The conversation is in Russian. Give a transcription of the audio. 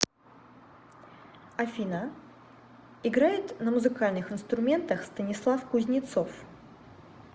афина играет на музыкальных инструментах станислав кузнецов